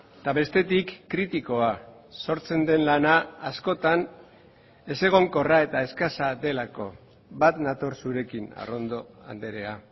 eta bestetik kritikoa sortzen den lana askotan ezegonkorra eta eskasa delako bat nator zurekin arrondo andrea